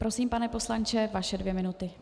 Prosím, pane poslanče, vaše dvě minuty.